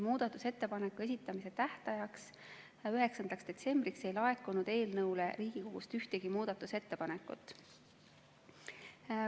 Muudatusettepanekute esitamise tähtajaks, 9. detsembriks ei laekunud eelnõu kohta Riigikogust ühtegi ettepanekut.